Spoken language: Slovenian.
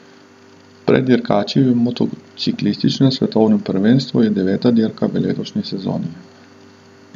Pred dirkači v motociklističnem svetovnem prvenstvu je deveta dirka v letošnji sezoni.